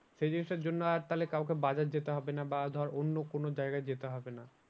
সেই জিনিসটার জন্য আর তাহলে কাউকে বাজার যেতে হবে না বা ধর অন্য কোনো জায়গায় যেতে হবে না।